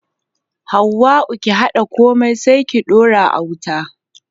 Hauwa'u ki haɗa komai sai ki daura a wuta.